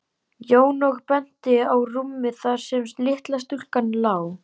Jón og benti á rúmið þar sem litla stúlkan lá.